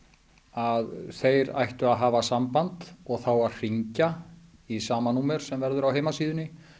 að þeir ættu að hafa samband og þá að hringja í sama númer sem verður á heimasíðunni